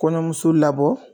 Kɔɲɔmuso labɔ